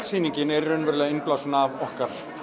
sýningin er raunverulega innblásin af okkar